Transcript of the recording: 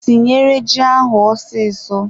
Tinyere ji ahụ osiso.